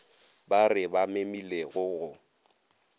ba re ba memilego go